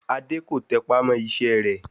Adé kò tẹpá mọ́ iṣẹ́ rẹ̀